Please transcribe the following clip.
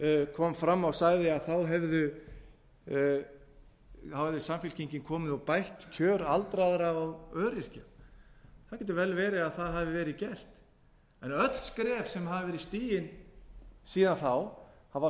kom fram og sagði að þá hefði samfylkingin komið og bætt kjör aldraðra og öryrkja það getur vel verið að það hafi verið gert en öll skref sem hafa verið stigin